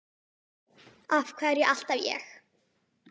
Af hverju alltaf ég?